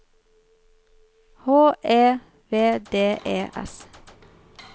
H E V D E S